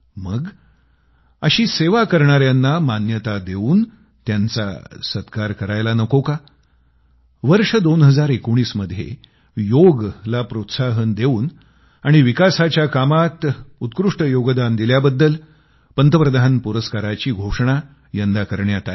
मग अशी सेवा करणाऱ्यांना मान्यता देवून त्यांचा सत्कार करायला नको का वर्ष 2019 मध्ये योगाला प्रोत्साहन देवून आणि विकासाच्या कामात उत्कृष्ट योगदान दिल्याबद्दल पंतप्रधान पुरस्काराची घोषणा यंदा करण्यात आली